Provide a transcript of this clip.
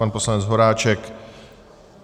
Pan poslanec Horáček?